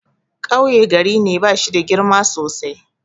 Kauye gari ne da bashida girma sosai.